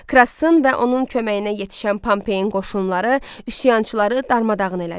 Krasın və onun köməyinə yetişən Pompayın qoşunları üsyançıları darmadağın elədi.